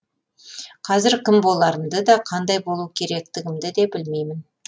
қазір кім боларымды да қандай болу керектігімді де білмеймін